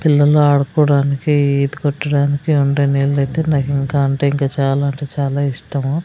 పిల్లలు ఆడుకోడానికి ఈత కొట్టడానికి ఉండే నీళ్ళైతే నాకింకా అంటే ఇంకా చాలా అంటే చాలా ఇష్టము.